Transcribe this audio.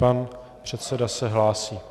Pan předseda se hlásí.